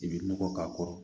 I bɛ nɔgɔ k'a kɔrɔ